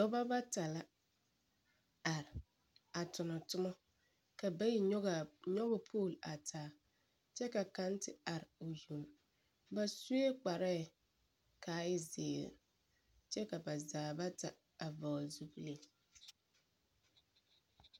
Dɔbɔ bata la are a tona tomɔ. Ka bayi nyɔge a, nyɔge pooli a taa kyɛ kaŋ te are o yoŋ. Ba sue kparɛɛ ka a e zeere. kyɛ ka ba zaa bata a vɔgele zupile.